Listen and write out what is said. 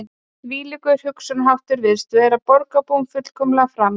Þvílíkur hugsunarháttur virtist vera borgarbúum fullkomlega framandi